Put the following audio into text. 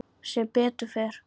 Sem betur fer?